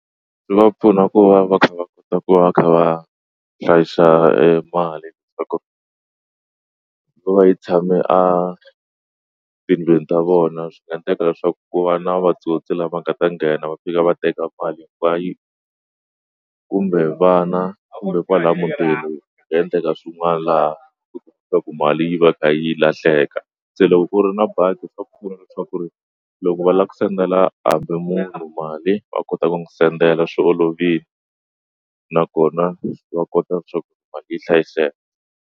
Swi va pfuna ku va va kha va kota ku va va kha va hlayisa mali leswaku va yi tshame a tindlwini ta vona swi nga endleka leswaku ku va na vatsotsi lama nga ta nghena va fika va teka mali hinkwayo kumbe vana kumbe kwala muthelo endleka swin'wana laha ku mali yi va ka yi lahleka se loko ku ri na bangi swa pfuna leswaku ri loko va lava ku sendela hambi munhu mali va kota ku n'wi sendela swi olovile nakona va kota leswaku yi hlayiseka.